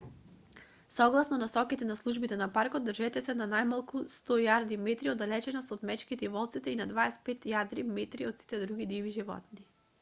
согласно насоките на службите на паркот држете се на најмалку 100 јарди/метри оддалеченост од мечките и волците и на 25 јарди/метри од сите други диви животни!